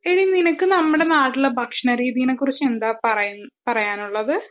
എടീ നിനക്ക് നമ്മുടെ നാട്ടിലെ ഭക്ഷണ രീതിയെക്കുറിച്ചു എന്താ പറയാനുള്ളത്